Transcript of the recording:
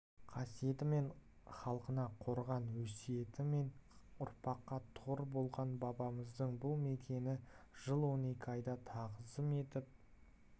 қасиетімен халқына қорған өсиетімен ұрпаққа тұғыр болған бабамыздың бұл мекені жыл он екі айда тағзым етіп